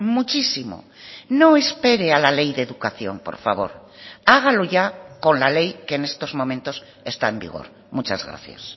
muchísimo no espere a la ley de educación por favor hágalo ya con la ley que en estos momentos está en vigor muchas gracias